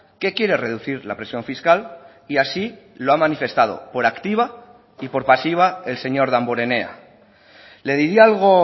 que quiere reducir la presión fiscal y así lo ha manifestado por activa y por pasiva el señor damborenea le diría algo